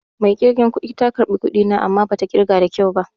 Mai ƙirgen kudi ta ƙarbi kuɗi na amma bata ƙirga da kyau ba